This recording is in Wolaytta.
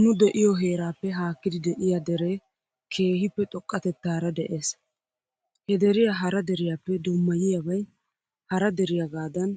Nu de'iyoo heeraappe haakkidi de'iyaa deree keehippe xoqqatettaara de'es. He deriya hara deriyaappe dummayiyaabay hara deriyaagaadan